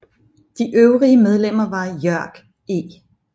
De øvrige medlemmer var Jörg E